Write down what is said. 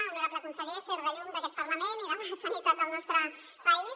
honorable conseller ser de llum d’aquest parlament i de la sanitat del nostre país